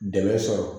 Dɛmɛ sɔrɔ